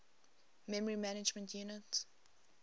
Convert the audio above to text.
memory management unit